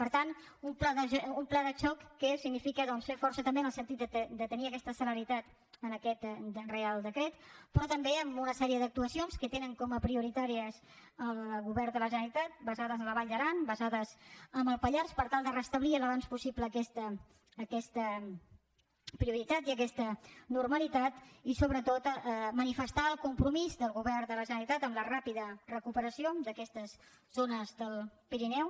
per tant un pla de xoc que significa doncs fer força també en el sentit de tenir aquesta celeritat amb aquest reial decret però també amb una sèrie d’actuacions que té com a prioritàries el govern de la generalitat basades en la vall d’aran basades en el pallars per tal de restablir al més aviat possible aquesta prioritat i aquesta normalitat i sobretot manifestar el compromís del govern de la generalitat amb la ràpida recuperació d’aquestes zones del pirineu